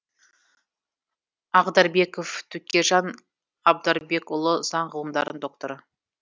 ағдарбеков төкежан абдарбекұлы заң ғылымдарының докторы